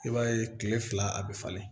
I b'a ye kile fila a be falen